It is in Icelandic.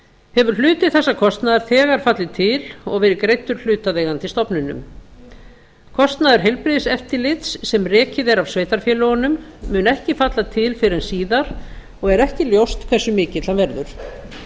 hefur hluti þessa kostnaðar hefur þegar fallið til og verið greiddur hlutaðeigandi stofnunum kostnaður heilbrigðiseftirlits sem rekið er af sveitarfélögunum mun ekki falla til fyrr en síðar og er ekki ljóst hversu mikill hann verður